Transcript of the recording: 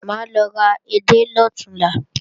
Mà á lọ ra edé lọ̀túnla